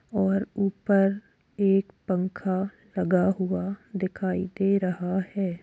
और ऊपर एक पंखा लगा हुआ दिखाई दे रहा है।